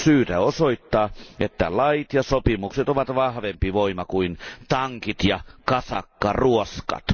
On syytä osoittaa, että lait ja sopimukset ovat vahvempi voima kuin tankit ja kasakkaruoskat.